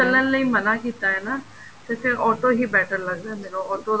ਚਲਣ ਲਈ ਮਨਾ ਕੀਤਾ ਏ ਨਾ ਤੇ ਫੇਰ auto ਹੀ better ਲੱਗ ਜਾਂਦਾ auto